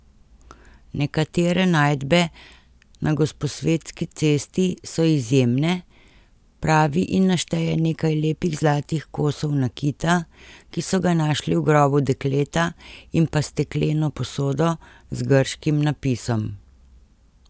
Nekatere najdbe na Gosposvetski cesti so izjemne, pravi in našteje nekaj lepih zlatih kosov nakita, ki so ga našli v grobu dekleta, in pa stekleno posodo z grškim napisom.